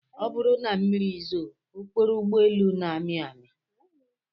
Ọ bụrụ na mmiri zoo, okporo ụgbọelu na-amị amị